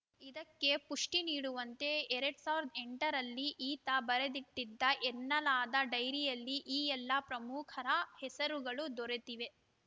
ಇದಕ್ಕೆ ಪುಷ್ಟಿನೀಡುವಂತೆ ಎರಡ್ ಸಾವಿರದ ಎಂಟರಲ್ಲಿ ಈತ ಬರೆದಿಟ್ಟಿದ್ದ ಎನ್ನಲಾದ ಡೈರಿಯಲ್ಲಿ ಈ ಎಲ್ಲ ಪ್ರಮುಖರ ಹೆಸರುಗಳು ದೊರೆತಿವೆ